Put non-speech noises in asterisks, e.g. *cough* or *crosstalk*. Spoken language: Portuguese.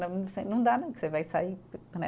*unintelligible* Não dá não, que você vai sair, né?